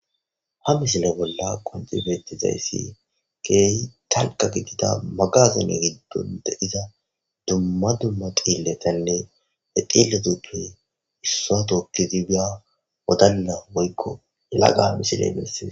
Ha misile bolla qoncci betizayssi keehi dalgga gidida magaazine giddon de7iza dumma dumma dhiiletanne ha dhiileta tooki efiya wodalla woyko yelagako.